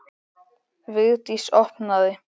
Vigdís opnaði.